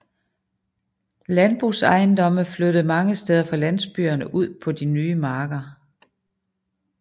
Landbrugsejendomme flyttede mange steder fra landsbyerne ud på de nye marker